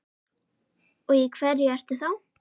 Og í hverju ertu þá?